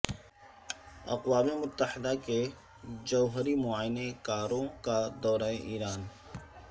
اقوام متحدہ کے جوہری معائنہ کاروں کا دورہ ایران